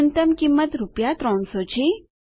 ન્યૂનતમ કિંમત રૂપિયા 300 છે